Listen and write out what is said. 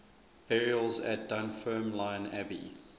burials at dunfermline abbey